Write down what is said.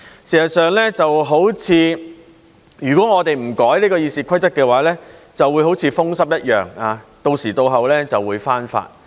事實上，如果我們不修改《議事規則》的話，就會好像風濕一樣，到時到候就會復發。